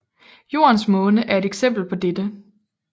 Jordens måne er et eksempel på dette